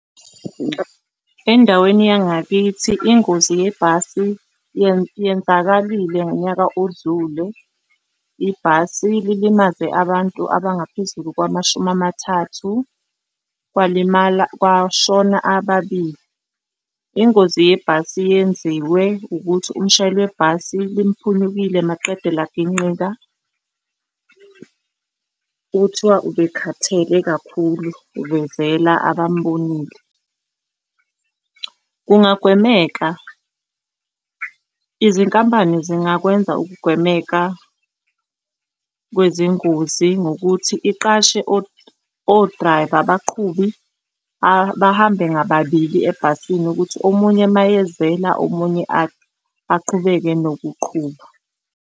Endaweni yangakithi ingozi yebhasi yenzakalile ngonyaka odlule. Ibhasi lilimaze abantu abangaphezulu kwamashumi amathathu kwalimala kwashona ababili. Ingozi yebhasi yenziwe ukuthi umshayeli webhasi limphunyukile maqede laginqika. Kuthiwa ubekhathele kakhulu, ubezela abambonile. Kungagwemeka izinkampani zingakwenza ukugwemeka kwezingozi ngokuthi iqashe o-driver, abaqhubi bahambe ngababili ebhasini ukuthi omunye mayezela omunye aqhubeke nokuqhuba.